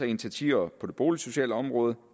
initiativer på det boligsociale område